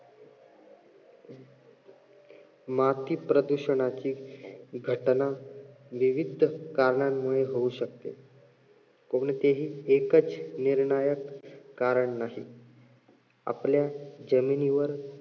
माती प्रदूषणाची घटना विविध कारणामुळे होऊ शकते. कोणतेही एकच निर्णायक कारण नाही. आपल्या जमिनीवर